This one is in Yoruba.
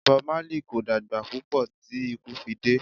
Bob Marley kò dàgbà púpọ̀ tí ikú fi dé.